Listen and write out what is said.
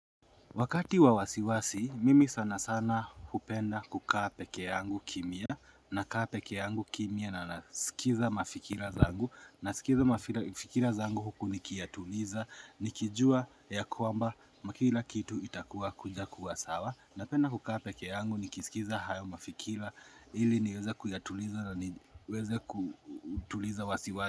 Wakati wa wasiwasi, mimi sana sana hupenda kukaa pekee yangu kimya, nakaa peke yangu kimya na nasikiza mafikira zangu, nasikiza mafikira zangu huku nikiyatuliza, nikijua ya kwamba kila kitu itakuwa kuja kuwa sawa, napenda kukaa pekee yangu nikisikiza hayo mafikira ili niweze kuyatuliza na niweze kutuliza wasiwa.